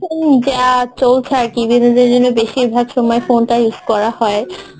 যা চলছে আরকি বিনোদন এর জন্য বেশিরভাগ সময় phone টা use করা হয়